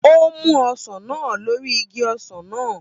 Ó mú ọsàn náà lórí igi ọsàn náà